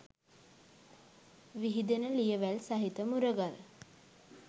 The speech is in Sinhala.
විහිදෙන ලියවැල් සහිත මුරගල්